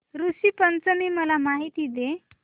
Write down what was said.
ऋषी पंचमी ची मला माहिती दे